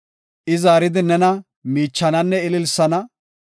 I zaaridi nena miichananne ililsana.